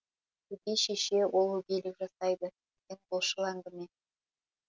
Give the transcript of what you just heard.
өгей шеше ол өгейлік жасайды деген былшыл әңгіме